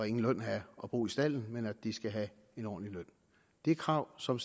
ingen løn have og bo i stalden men at de skal have en ordentlig løn det er krav som